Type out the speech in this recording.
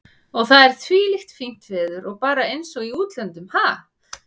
Og það er þvílíkt fínt veður og bara eins og í útlöndum, ha?